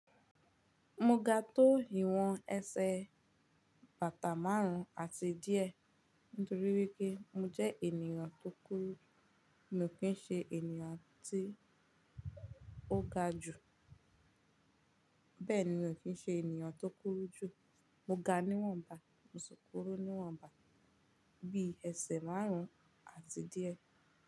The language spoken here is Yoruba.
Mo ga tó ìwan ẹsẹ̀ bàtà márùn àti díẹ̀ nítorí wípé mo jẹ́ ènìyàn tó kúrú, mi ò kí ń ṣe ènìyàn tí ó ga jù. Bẹ́ẹ̀ ni mii ò kí ń ṣe ènìyàn tó kúrú jù. Mo ga níwọ̀nba, mo ṣikuru níwọ̀nba bí ẹsẹ̀ márùn àti díẹ̀